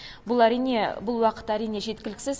бұл әрине бұл уақыт әрине жеткіліксіз